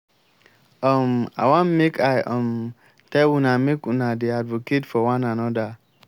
um i wan make i um tell una make una dey advocate for one another